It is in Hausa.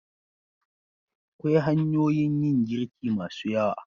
Akwai hanyoyin yin girki masu yawa.